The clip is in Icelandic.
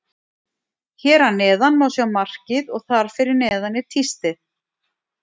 Hér að neðan má sjá markið og þar fyrir neðan er tístið.